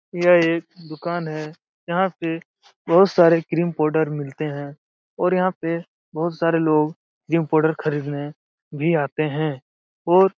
यह एक दुकान है। यहाँ से बहोत सारे क्रीम पाउडर मिलते हैं और यहाँ पे बोहोत सारे लोग जिम पाउडर खरीदने भी आते हैं और --